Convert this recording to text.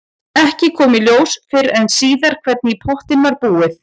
Ekki kom í ljós fyrr en síðar hvernig í pottinn var búið.